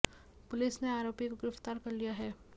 police ने आऱोपी को गिरफ्तार कर लिया है